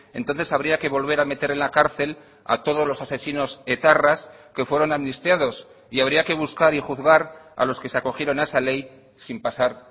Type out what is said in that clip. entonces habría que volver a meter en la cárcel a todos los asesinos etarras que fueron amnistiados y habría que buscar y juzgar a los que se acogieron a esa ley sin pasar